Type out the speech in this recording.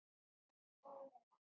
Góða besta!